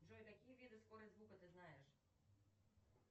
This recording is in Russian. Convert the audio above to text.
джой какие виды скорость звука ты знаешь